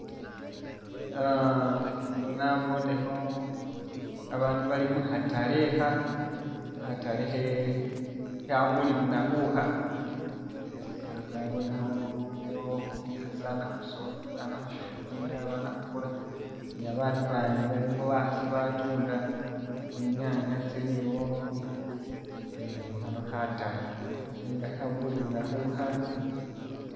Uh ano nabonekho abandu bali mukhatale akha khatale khe khabulilunakhu akha, esi nabonekho uyo umukhasi ama khu shopinga ama khukula ni babandu abandi balimo bakhasi abatunda tsinyanya tsili awo eh khano khatale nenga khabulilunakhu akha.